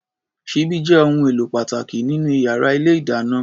Ṣíbí jẹ́ ohun èlò pàtàkì nínú yàrá ilé-ìdáná.